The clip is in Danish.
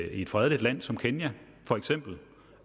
et fredeligt land som kenya for eksempel